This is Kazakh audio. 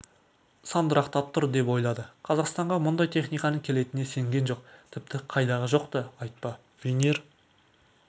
сандырақтап тұр деп ойлады қазақстанға мұндай техниканың келетініне сенген жоқ тіпті қайдағы жоқты айтпа винир